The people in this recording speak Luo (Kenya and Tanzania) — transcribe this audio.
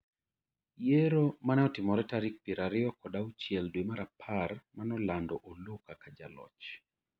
yiero mane otimore tariok piero ariyo kod auchiel dwe mar apar manolando Oloo kaka Jaloch